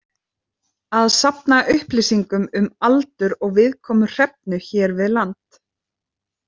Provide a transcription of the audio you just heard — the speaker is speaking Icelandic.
Að safna upplýsingum um aldur og viðkomu hrefnu hér við land.